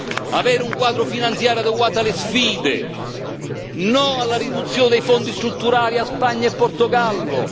Dobbiamo avere un quadro finanziario adeguato alle sfide no alla riduzione dei Fondi strutturali a Spagna e Portogallo.